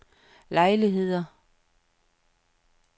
lejligheder